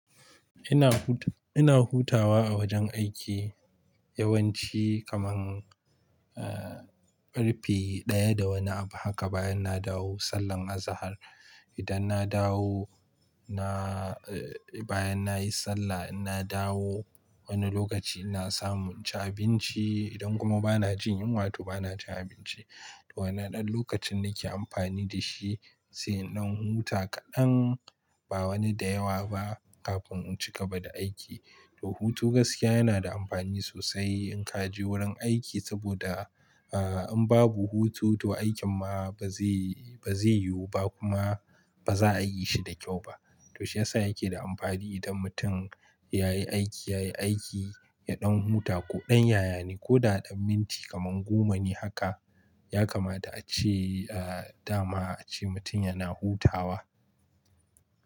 Ina hut-- ina hutawa a wajen aiki yawanci kaman, eh, karfe ɗaya da wani abu haka bayan na dawo sallan azahar. Idan na dawo, na, eh, bayan nayi sallah ina dawo wani lokaci ina samu inci abinci. Idan kuma bana jin yunwa toh bana cin abinci. To wannan ɗan lokacin nake amfani da shi, sai in ɗan huta kaɗan ba wani da yawa ba kafin in cigaba da aiki. To hutu gaskiya yana da amfani sosai in ka je wurin aiki saboda, ah, in babu hutu to aikin ma baze, bazai yiwu ba kuma baza a yi shi da kyau ba. To shiyasa yake da amfani idan mutum yayi aiki, yayi aiki ya ɗan huta ko ɗan yaya ne ko da ɗan minti kaman goma ne haka yakamata a ce, ah, dama a ce mutum yana hutawa.